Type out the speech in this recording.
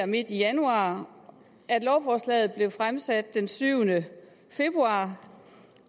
midt i januar at lovforslaget blev fremsat den syvende februar